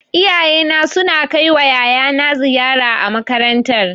Iyayena suna kai wa yayana ziyara a makarantar